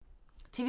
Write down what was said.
TV 2